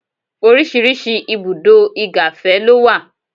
Oríṣiríṣi ibùdó igàfẹ́ ló wà.